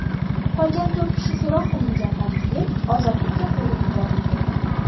Qolgan to‘rt kishi so‘roq qilingandan keyin ozodlikka qo‘yib yuborildi.